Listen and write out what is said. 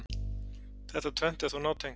Þetta tvennt er þó nátengt.